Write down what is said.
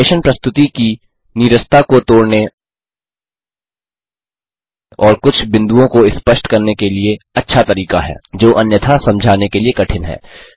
animation प्रस्तुति की नीरसता को तोड़ने और कुछ बिंदुओं को स्पष्ट करने के लिए अच्छा तरीका है जो अन्यथा समझाने के लिए कठिन हैं